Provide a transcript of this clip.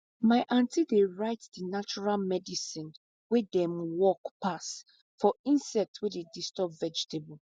my aunty dey write di natural medicine wey dey work pass for insect wey dey disturb vegetable